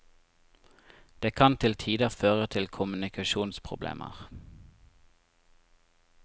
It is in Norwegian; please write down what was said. Det kan til tider føre til kommunikasjonsproblemer.